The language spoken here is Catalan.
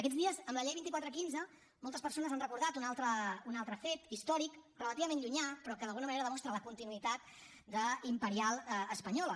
aquests dies amb la llei vint quatre quinze moltes persones han recordat un altre fet històric relativament llunyà però que d’alguna manera demostra la continuïtat imperial espanyola